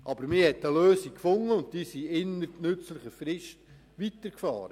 Aber man hat eine Lösung gefunden, und die Fahrenden fuhren innert nützlicher Frist weiter.